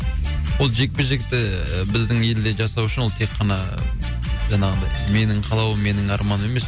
ол жекпе жекті ііі біздің елде жасау үшін ол те қана жаңағындай менің қалауым менің арманым емес